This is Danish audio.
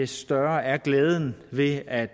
større er glæden ved at